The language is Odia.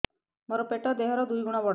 ମୋର ପେଟ ଦେହ ର ଦୁଇ ଗୁଣ ବଡ